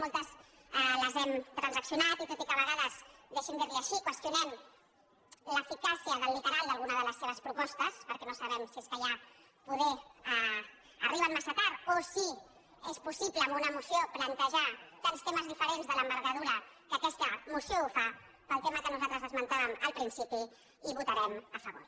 moltes les hem transaccionat i tot i que a vegades deixi’m dir·li·ho així qüestionem l’eficàcia del literal d’alguna de les seves propostes perquè no sabem si és que ja poder arriben massa tard o si és possible amb una moció plantejar tants temes diferents de l’envergadura amb què aquesta moció ho fa pel tema que nosaltres es·mentàvem al principi hi votarem a favor